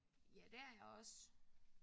Ja det er jeg også